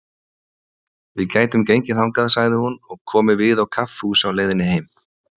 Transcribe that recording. Við gætum gengið þangað, sagði hún, og komið við á kaffihúsi á leiðinni heim.